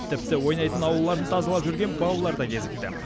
тіпті ойнайтын аулаларын тазалап жүрген балалар да кезікті